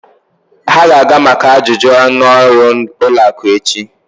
Ha ga-aga maka ajụjụ ọnụ ọrụ ụlọ akụ echi.